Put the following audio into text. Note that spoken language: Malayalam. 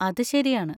അത് ശരിയാണ്.